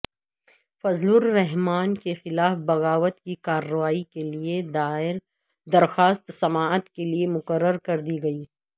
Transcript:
فضل الرحمان کیخلاف بغاوت کی کارروائی کیلیے دائر درخواست سماعت کیلیے مقرر کر دی گئی